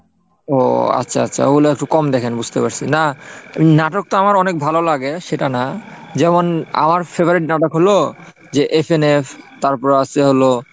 ও আচ্ছা আচ্ছা ওগুলো একটু কম দেখেন বুঝতে পারছি, না নাটক তো আমার অনেক ভালো লাগে সেটা না, যেমন আমার favorite নাটক হলো যে FNF তারপর আসছে হলো